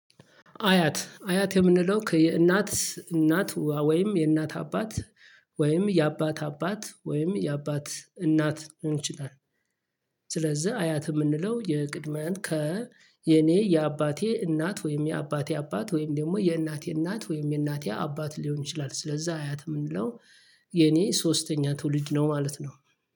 አያት አያት የምንለው የእናት እናት ወይም የእናት አባት ወይም የአባት አባት ወይም የአባት እናት እንችላለን። ስለዚህ አያት የምንለው የቅድመ አያት ከ የኔ የአባቴ እናት ወይም የአባቴ አባት ወይም ደግሞ የእናቴ እናት ወይም የእናቴ አባት ሊሆን ይችላል ስለዛ አያት የምንለው። የኔ ሶስተኛ ትውልድ ነው ማለት ነው